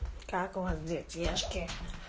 как у вас детишки